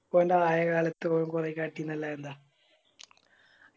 അവൻറെ ആയ കാലത്ത് ഓൻ കൊറേ കളിചിനല്ല അതെന്താ